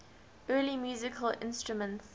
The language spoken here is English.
early musical instruments